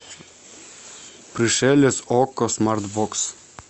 пришелец окко смарт бокс